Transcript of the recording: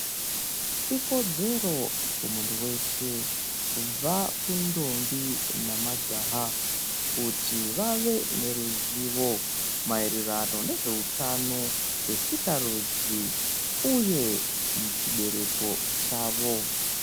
Ikodzero kumuntu weshe kubva kundombi nemajaha kuti vave neruzivo maererano nezveutano hwesikarudzi uye muchibereko chavo.